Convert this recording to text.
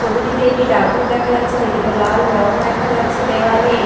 ছবিটিতে একটি ডাকঘর দেখা যাচ্ছে যেটিতে লাল রং দেখা যাচ্ছে দেয়ালে একটি --